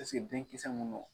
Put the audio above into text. Esike denkisɛ mun no.